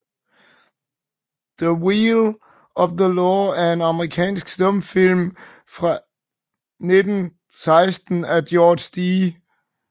The Wheel of the Law er en amerikansk stumfilm fra 1916 af George D